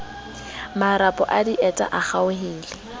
marapo a dieta a kgaohile